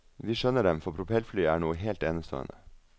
Vi skjønner dem, for propellfly er noe helt enestående.